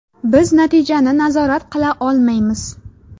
Biz natijani nazorat qila olmaymiz.